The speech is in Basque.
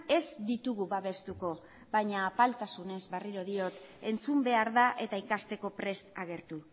ez ditugu babestuko baina apaltasunez berriro diot entzun behar da eta ikasteko prest agertu